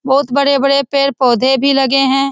बहुत बड़े बड़े पेड़ पौधे भी लगें हैं |